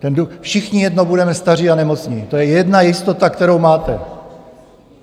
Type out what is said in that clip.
Všichni jednou budeme staří a nemocní, to je jedna jistota, kterou máte.